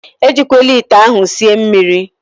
Ejikwala ite ahụ sie mmiri!